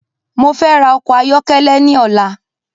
Mo fẹ ra ọkọ̀ ayọkẹlẹ ni ọ̀la